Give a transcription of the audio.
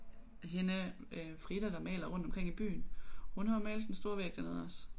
Hende øh Frida der maler rundt omkring i byen hun har jo malet den store væg dernede også